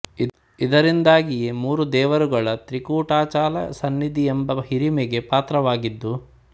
ಇದರಿಂದಾಗಿಯೇ ಮೂರು ದೇವರುಗಳ ತ್ರಿಕೂಟಾಚಲ ಸನ್ನಿದಿ ಎಂಬ ಹಿರಿಮೆಗೆ ಪಾತ್ರವಾದದ್ದು